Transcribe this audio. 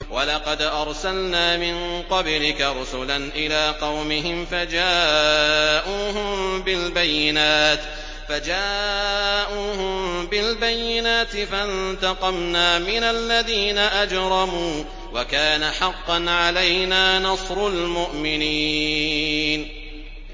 وَلَقَدْ أَرْسَلْنَا مِن قَبْلِكَ رُسُلًا إِلَىٰ قَوْمِهِمْ فَجَاءُوهُم بِالْبَيِّنَاتِ فَانتَقَمْنَا مِنَ الَّذِينَ أَجْرَمُوا ۖ وَكَانَ حَقًّا عَلَيْنَا نَصْرُ الْمُؤْمِنِينَ